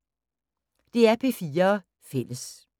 DR P4 Fælles